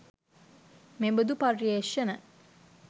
මෙබඳු පර්යේෂණ